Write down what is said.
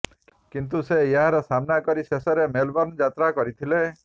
କିନ୍ତୁ ସେ ଏହାର ସାମ୍ନା କରି ଶେଷରେ ମେଲ୍ବର୍ନ ଯାତ୍ରା କରିଥିଲେ